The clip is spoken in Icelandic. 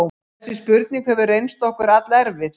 Þessi spurning hefur reynst okkur allerfið.